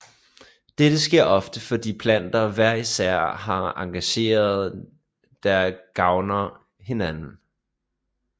Dette sker ofte fordi planter hver især har egenskaber der gavner hinanden